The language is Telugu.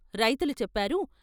రైతులు చెప్పారు.